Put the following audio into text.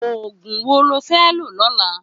Ógún wó ló fè ló lólã?